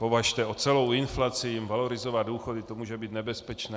Považte, o celou inflaci jim valorizovat důchody, to může být nebezpečné!